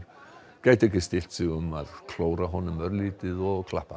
gætu ekki stillt sig um að klóra honum örlítið og klappa